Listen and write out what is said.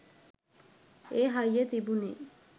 ඒ හයිය තිබුනෙ.